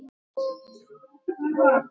Meira en tuttugu árum síðar.